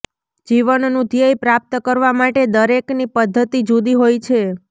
જીવનનું ધ્યેય પ્રાપ્ત કરવા માટે દરેકની પદ્ધતિ જુદી હોય છે